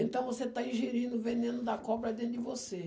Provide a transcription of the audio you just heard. Então você está ingerindo o veneno da cobra dentro de você.